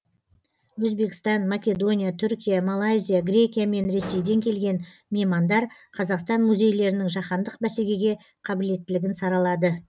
өзбекстан македония түркия малайзия грекия мен ресейден келген меймандар қазақстан музейлерінің жаһандық бәсекеге қабілеттілігін саралады